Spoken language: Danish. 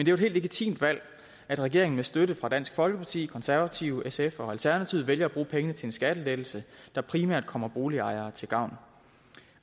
jo et helt legitimt valg at regeringen med støtte fra dansk folkeparti det konservative sf og alternativet vælger at bruge pengene til en skattelettelse der primært kommer boligejere til gavn